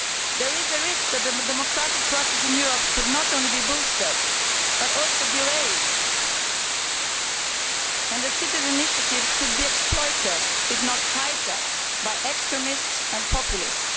There is a risk that the democratic process in Europe could not only be boosted but also derailed, and the citizens' initiative could be exploited, if not hijacked, by extremists and populists.